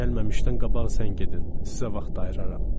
Gəlməmişdən qabaq zəng edin, sizə vaxt ayıraram.